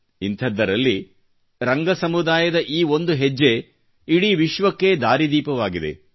ಇಂತಹದ್ದರಲ್ಲಿ ರಂಗ ಸಮುದಾಯದ ಈ ಒಂದು ಹೆಜ್ಜೆ ಇಡೀ ವಿಶ್ವಕ್ಕೇ ದಾರಿದೀಪವಾಗಿದೆ